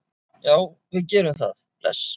Já, við gerum það. Bless.